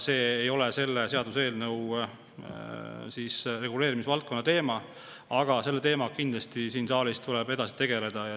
See ei ole selle seaduseelnõu reguleerimisvaldkonna teema, aga selle teemaga tuleb kindlasti siin saalis edasi tegeleda.